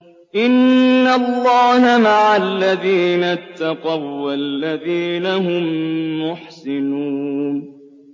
إِنَّ اللَّهَ مَعَ الَّذِينَ اتَّقَوا وَّالَّذِينَ هُم مُّحْسِنُونَ